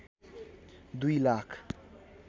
दुई लाख